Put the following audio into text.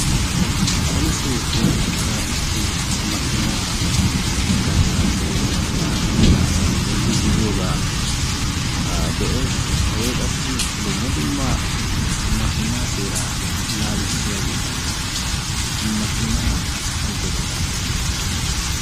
polisee woykko tiraafikke makiinaa garsan gelidi makiinan de'iya asaa be'iidi de'oosona. hageekka qassi dumma dumma ha makiinaa seeraa naagissiyaageetanne makiinaa godata besees.